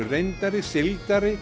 reyndari